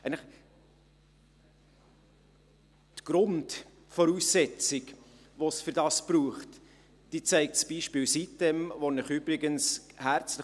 – Die Grundvoraussetzung, die es dafür braucht, zeigt eigentlich das Beispiel Sitem-insel.